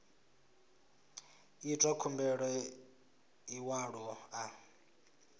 itwa khumbelo ya ḽiṅwalo ḽa